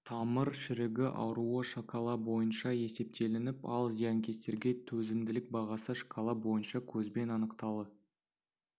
тамыр шірігі ауруы шкала бойынша есептелініп ал зиянкестерге төзімділік бағасы шкала бойынша көзбен анықталды